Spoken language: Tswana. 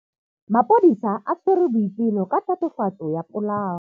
Maphodisa a tshwere Boipelo ka tatofatsô ya polaô.